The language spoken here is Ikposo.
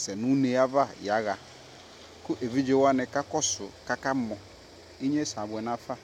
sɛ nu ne ya ɣaKu evidze wani ka ku su kaka mɔInye sɛ abuɛ na fa